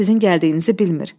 Yəqin sizin gəldiyinizi bilmir.